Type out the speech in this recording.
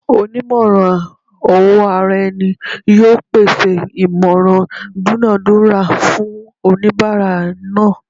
Onimoran-owo-araeni yoo pese imoran idunadura fun onibara naa